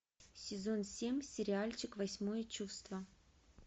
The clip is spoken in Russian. сезон семь сериальчик восьмое чувство